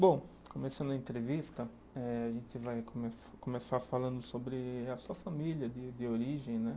Bom, começando a entrevista, eh a gente vai come, começar falando sobre a sua família de de origem, né?